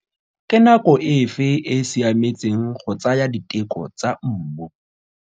Ke nako efe e siametseng go tsaya diteko tsa mmu?